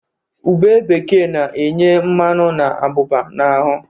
Ube bekee na-enye mmanụ na abụba n"ahụ.